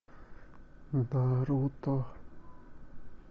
наруто